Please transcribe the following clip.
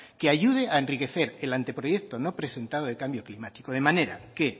que ayude a enriquecer el anteproyecto no presentado de cambio climático de manera que